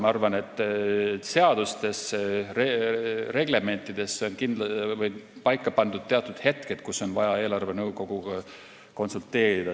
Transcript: Ma arvan, et seadustes-reglementides on paika pandud teatud hetked, kus on vaja eelarvenõukoguga konsulteerida.